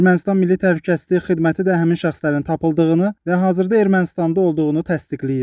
Ermənistan Milli Təhlükəsizlik Xidməti də həmin şəxslərin tapıldığını və hazırda Ermənistanda olduğunu təsdiqləyib.